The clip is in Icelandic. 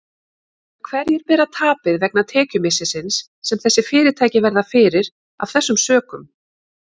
En hverjir bera tapið vegna tekjumissisins sem þessi fyrirtæki verða fyrir af þessum sökum?